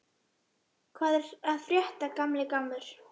Hvað er að frétta, gamli gammur?